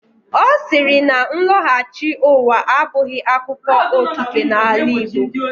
Ọ siiri na nlọghachi ụwa abụghị akụkọ okike n'ala Igbo.